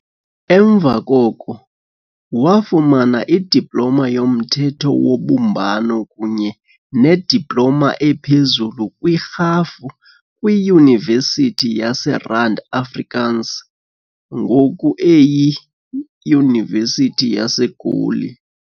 Emva koko, wafumana idiploma yomthetho wobumbano kunye nediploma ephezulu kwirhafu kwiYunivesithi yaseRand Afrikaans, ngoku eyiYunivesithi yaseGoli.